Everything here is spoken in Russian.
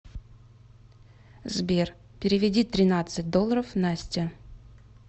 сбер переведи тринадцать долларов насте